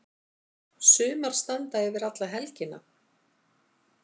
Sumar standa yfir alla helgina.